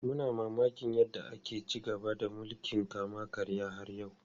Muna mamakin yadda ake ci gaba da mulkin kama karya har yau.